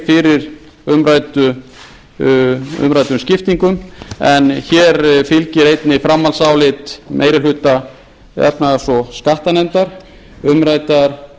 fyrir umræddum skiptingum en hér fylgir einnig framhaldsálit meiri hluta efnahags og skattanefndar umræddar